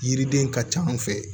Yiriden ka ca an fɛ yen